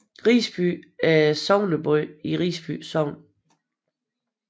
Risby er sogneby i Risby Sogn